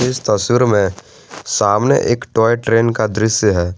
इस तस्वीर में सामने एक टॉय ट्रेन का दृश्य है।